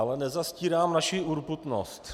Ale nezastírám naši urputnost.